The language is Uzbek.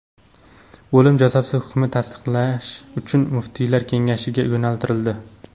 O‘lim jazosi hukmi tasdiqlash uchun muftiylar kengashiga yo‘naltirildi.